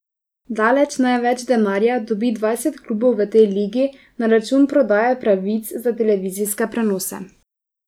Daleč največ denarja dobi dvajset klubov v tej ligi na račun prodaje pravic za televizijske prenose.